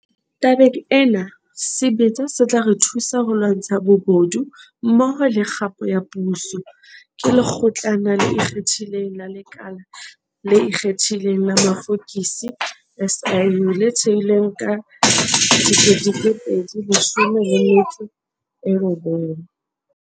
Tabeng ena, sebetsa se tla re thusa ho lwantsha bobodu mmoho le kgapo ya puso, ke Lekgotlana le Ikgethileng la Lekala le Ikgethileng la Mafokisi, SIU, le thehilweng ka 2019.